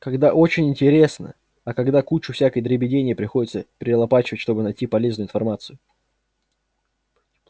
когда очень интересно а когда кучу всякой дребедени приходится перелопачивать чтобы найти полезную информацию